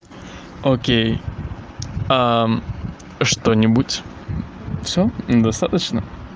окей что-нибудь всё достаточно